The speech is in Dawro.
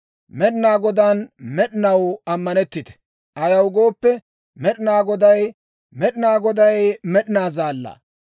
Med'inaa Godaan med'inaw ammanetitte; ayaw gooppe, Med'inaa Goday, Med'inaa Goday med'inaa Zaallaa.